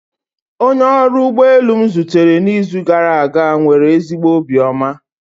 Onye ọrụ ụgbọ elu m zutere n'izu gara aga nwere ezigbo obiọma